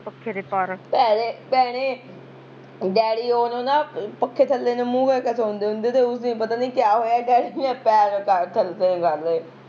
ਭੈਣੇ ਭੈਣੇ ਡੈਡੀ ਉਦੋਂ ਨਾ ਪੱਖੇ ਥੱਲੇ ਨੂੰ ਮੂਹ ਕਰਕੇ ਸੋਂਦੇ ਹੁੰਦੇ ਤੇ ਉਸ ਦਿਨ ਪਤਾ ਨੀ ਕਿਆ ਹੋਇਆ ਡੈਡੀ ਨੇ ਪੈਰ ਕਰ ਥੱਲੇ ਨੂੰ ਕਰਲੇ